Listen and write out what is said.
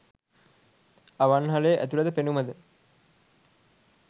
අවන්හලේ ඇතුළත පෙනුමද